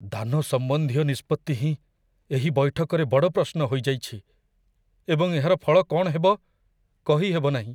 ଦାନ ସମ୍ବନ୍ଧୀୟ ନିଷ୍ପତ୍ତି ହିଁ ଏହି ବୈଠକରେ ବଡ଼ ପ୍ରଶ୍ନ ହୋଇଯାଇଛି, ଏବଂ ଏହାର ଫଳ କ'ଣ ହେବ କହିହେବ ନାହିଁ।